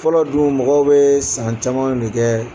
Fɔlɔ dun mɔgɔw bɛ san caman de kɛ